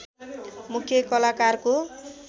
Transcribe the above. मुख्‍य कलाकारको